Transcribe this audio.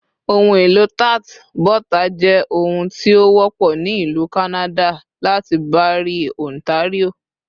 Ohunelo tart bota jẹ òun ti o wọpọ ni Ilu Kanada lati Barrie, Ontario